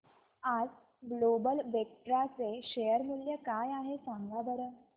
आज global Vectra चे share मूल्य काय आहे सांगा बरं